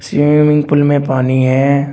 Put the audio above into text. Swimming pool में पानी है।